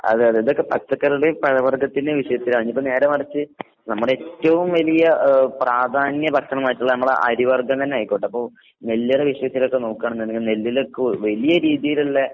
അതെയതെ. ഇതൊക്കെ പച്ചക്കറികള്ടേം പഴവർഗ്ഗത്തിന്റേം വിഷയത്തിലാ. ഇഞ്ഞീപ്പെ നേരെ മറിച്ച് നമ്മടേറ്റോം വലിയ ഏഹ് പ്രാധാന്യ ഭക്ഷണമായിട്ടിള്ള അമ്മളെ അരി വർഗ്ഗം തന്നായിക്കോട്ടിപ്പൊ നെല്ലറ വിഷയത്തിലൊക്കെ നോക്കാണെന്ന്ണ്ടെങ്കി നെല്ലിലൊക്കെ വലിയ രീതീല്ള്ള